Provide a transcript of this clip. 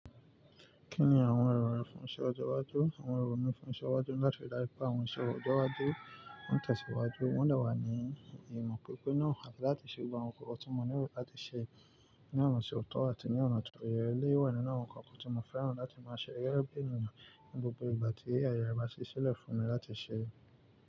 Kí ni àwọn èrò rẹ fún iṣẹ ọjọ́ iwájú? Àwọn èrò mi fún iṣẹ iwájú ni láti daju pé àwọn iṣẹ́ ọjọ́ iwájú won tẹ̀síwájú, wọn de wà ní ìmọ̀ pípé náà láti ṣe gbogbo àwọn nǹkan tí mo nílò láti ṣe ní ọ̀nà ti ó tọ́ àti ní ọ̀nà tó yẹ eleyi wá nínú àwọn nǹkan tí mo fẹ́ràn láti máa ṣe gẹ́gẹ́ bí èèyàn ní gbogbo ìgbà tí aaye re bá ṣíṣẹ́lẹ̀ fún mi láti ṣe.